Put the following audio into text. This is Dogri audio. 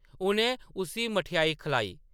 उʼनें उस्सी मठेआई खलाई ।